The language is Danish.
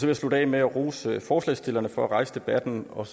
jeg slutte af med at rose forslagsstillerne for at rejse debatten og